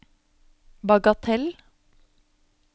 bagatell